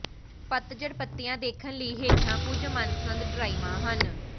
ਪਤਝੜ ਪੱਤੀਆਂ ਦੇਖਣ ਲਈ ਹੇਠਾਂ ਕੁਝ ਮਨਪਸੰਦ ਡਰਾਇਵਾਂ ਹਨ